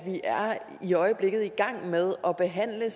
i øjeblikket i gang med at behandle